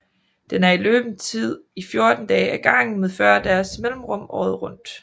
Den er i løbetid i 14 dage ad gangen med 40 dages mellemrum året rundt